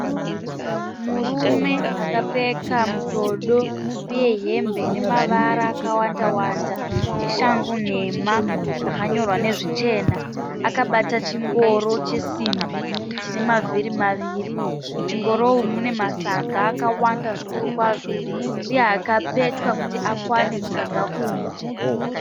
Murume akapfeka mutodo uye hembe ine mavara akawanda-wanda neshangu nhema dzakanyorwa nezvichena akabata chingoro chesimbi chine mavhiri maviri . Muchingoro umu mune masaga akawanda zvikuru kwazvo uye akapetwa kuti akwane musaga umu.